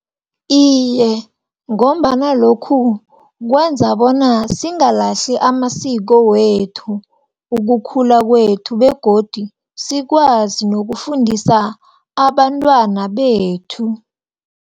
Iye, ngombana lokhu kwenza bona singalahli amasiko wethu, ukukhula kwethu, begodu sikwazi nokufundisa abantwana bethu.